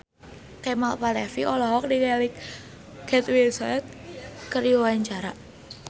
Kemal Palevi olohok ningali Kate Winslet keur diwawancara